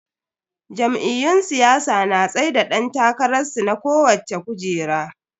Jam'iyyun siyasa na tsaida dan takararsu na kowacce kujera.